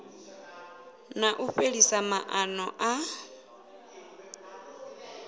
na u fhelisa maana a